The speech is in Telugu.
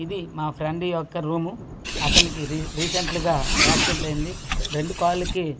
ఇది మా ఫ్రెండ్ యొక్క రూమ్ అతనికి రీ రీసెంట్లీ గా యాక్సిడెంట్ అయ్యింది రెండు కాళ్ళు కి ప--